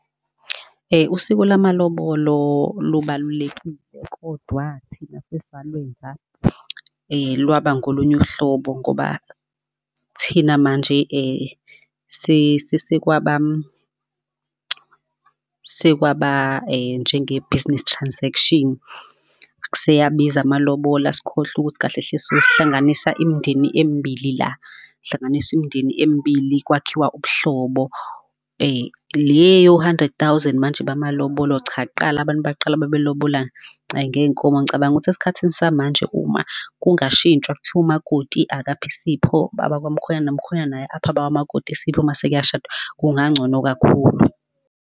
usiko lamalobolo lubalulekile, kodwa thina sesalwenza lwaba ngolunye uhlobo, ngoba thina manje sekwaba, sekwaba njenge-business transaction. Seyabiza amalobola sikhohlwe ukuthi kahle hle suke sihlanganisa imindeni emibili la, hlanganiswa imindeni emibili kwakhiwa ubuhlobo. Leyo hundred thousand manje bamalobolo cha, kuqala abantu bakqala babelobola ngey'nkomo. Ngicabanga ukuthi esikhathini samanje uma kungashintshwa kuthiwa umakoti akaphe isipho abakwa mkhwenyane nomkhwenyane naye aphe abakwa makoti isiphi mase kuyashadwa, kungancono kakhulu.